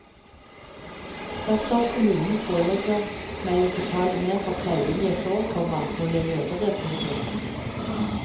Dersom kommunen pålegger meg å betale mer for pleien jeg får, komma må jeg gjøre det. punktum